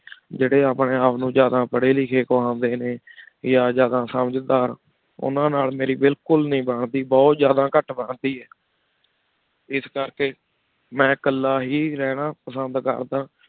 ਜੀਰੀ ਅਪਨੀ ਆਪਨੂ ਜਾਦਾ ਪਰੀ ਲਿਖੀ ਖੁਹੰਡੀ ਨੀ ਯਾ ਜਾਦਾ ਸੰਜ੍ਦਾਰ ਉਨਾਂ ਨਾਲ ਮੇਰੀ ਬਿਲਕੁਲ ਬੇ ਨੀ ਬਣ ਦੀ ਬੁਹਤ ਜਾਦਾ ਕਤ ਬੰਦੀ ਇਸ ਕਰ ਕੀ ਮੈਂ ਕਰ ਹੀ ਰਹਨਾ ਪਸੰਦ ਕਰ ਦਾ